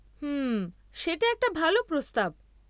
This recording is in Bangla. হুম, সেটা একটা ভাল প্রস্তাব।